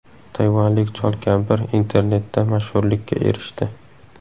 Tayvanlik chol-kampir internetda mashhurlikka erishdi.